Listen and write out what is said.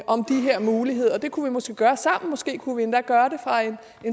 om de her muligheder det kunne vi måske gøre sammen måske kunne vi endda gøre det fra en